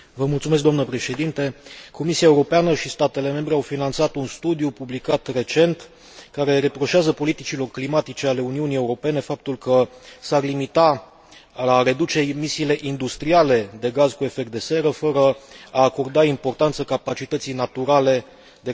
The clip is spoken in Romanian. Comisia Europeană și statele membre au finanțat un studiu publicat recent care reproșează politicilor climatice ale Uniunii Europene faptul că s ar limita la a reduce emisiile industriale de gaz cu efect de seră fără a acorda importanță capacității naturale de captare a dioxidului de carbon.